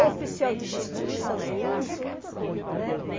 O oficial de justiça junto, né?